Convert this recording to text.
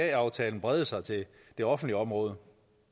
da aftalen brede sig til det offentlige område